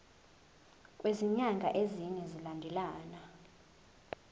kwezinyanga ezine zilandelana